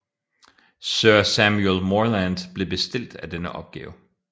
Sir Samuel Morland blev bestilt af denne opgave